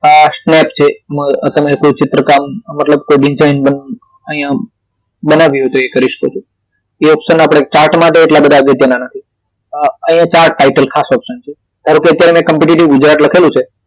આ સ્નેપ છે માં તમે કોઈ ચિત્રકામ મતલબ કોઈ design બનાવી હોય તો એ કરી શકો છો એ option chart માટે એટલા અગત્યના નથી અહિયાં chart title ખાસ option છે ધારો કે અત્યારે એને competity gujarat લખેલું છે